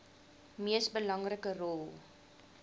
mees belangrike rol